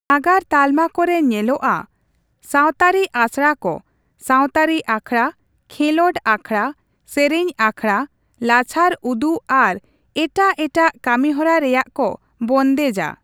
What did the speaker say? ᱱᱟᱜᱟᱨ ᱛᱟᱞᱢᱟ ᱠᱚᱨᱮ ᱧᱮᱞᱚᱜᱼᱟ ᱥᱟᱶᱛᱟᱹᱨᱤ ᱟᱥᱲᱟ ᱠᱚ ᱥᱟᱶᱛᱟᱹᱨᱤ ᱟᱠᱷᱲᱟ, ᱠᱷᱮᱞᱚᱸᱰ ᱟᱠᱷᱲᱟ, ᱥᱮᱨᱮᱧ ᱟᱠᱷᱲᱟ, ᱞᱟᱪᱷᱟᱲ ᱩᱫᱩᱜ ᱟᱨ ᱮᱴᱟᱜ ᱮᱴᱟᱜ ᱠᱟᱹᱢᱤᱦᱚᱨᱟ ᱨᱮᱭᱟᱜ ᱠᱚ ᱵᱚᱱᱫᱮᱡᱼᱟ ᱾